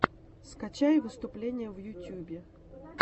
скачай выступления в ютьюбе